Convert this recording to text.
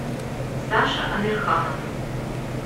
саша амирханов